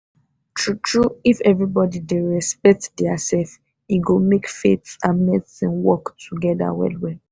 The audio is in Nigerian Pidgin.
true true if everybody dey respect theirself e go make faith and medicine work togeda well well.